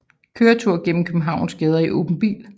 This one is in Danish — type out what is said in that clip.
Køretur gennem Københavns gader i åben bil